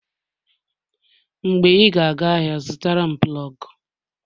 Mgbe ị ga-aga ahịa, zụtara m plọg